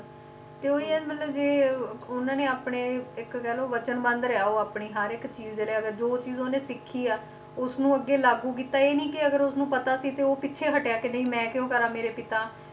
ਤੇ ਉਹੀ ਹੈ ਮਤਲਬ ਜੇ ਉਹਨਾਂ ਨੇ ਆਪਣੇ ਇੱਕ ਕਹਿ ਲਓ ਵਚਨਬੰਧ ਰਿਹਾ ਉਹ ਆਪਣੇ ਹਰ ਇੱਕ ਚੀਜ਼ ਦੇ ਲਈ, ਅਗਰ ਜੋ ਚੀਜ਼ ਉਹਨੇ ਸਿੱਖੀ ਆ, ਉਸਨੂੰ ਅੱਗੇ ਲਾਗੂ ਕੀਤਾ, ਇਹ ਨੀ ਕਿ ਅਗਰ ਉਸਨੂੰ ਪਤਾ ਸੀ ਤੇ ਉਹ ਪਿੱਛੇ ਹਟਿਆ ਕਿ ਨਹੀਂ ਮੈਂ ਕਿਉਂ ਕਰਾਂ ਮੇਰੇ ਪਿਤਾ,